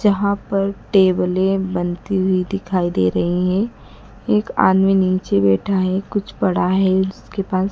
जहां पर टेबले बनती हुई दिखाई दे रही है एक आदमी नीचे बैठा है कुछ पड़ा है उसके पास।